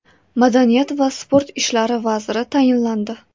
Madaniyat va sport ishlari vaziri tayinlandi.